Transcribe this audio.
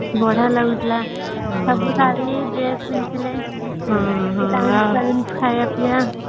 ବଢିଆ ଲାଗୁଥିଲା ସବୁ ଶାଢୀ ଡ୍ରେସ ପିନ୍ଧି ଥିଲେ